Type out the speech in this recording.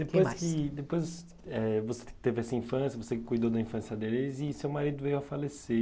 E depois que depois, eh, você teve essa infância, você cuidou da infância deles e seu marido veio a falecer.